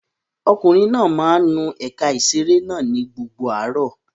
Ọkùnrin náà máa ń nu ẹ̀ka ìṣeré náà ní gbogbo àárọ̀.